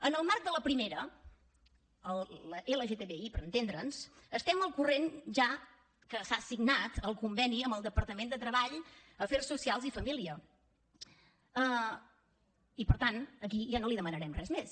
en el marc de la primera la lgtbi per entendre’ns estem al corrent ja que s’ha signat el conveni amb el departament de treball afers socials i famílies i per tant aquí ja no li demanarem res més